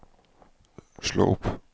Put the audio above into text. slå opp